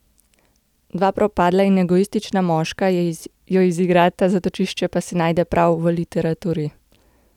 Dva propadla in egoistična moška jo izigrata, zatočišče pa si najde prav v literaturi.